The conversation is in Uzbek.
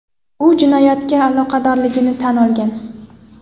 U jinoyatga aloqadorligini tan olgan.